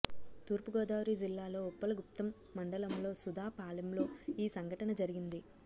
తూర్పు గోదావరి జిల్లాలో ఉప్పలగుప్తం మండలంలో సుధాపాలెంలో ఈ సంఘటన జరిగింది